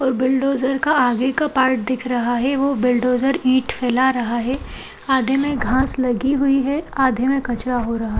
और बुलडोजर का आगे का पार्ट दिख रहा है| वो बुलडोजर ईट फैला रहा है| आधे में घास लगी हुई है आधे में कचड़ा हो रहा --